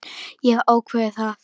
Ég hef ákveðið það.